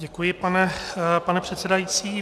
Děkuji, pane předsedající.